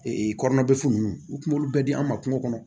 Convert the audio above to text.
Ee kɔnɔna bɛ funu nunnu u tun b'olu bɛɛ di an ma kungo kɔnɔ